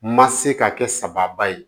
Ma se ka kɛ sababa ye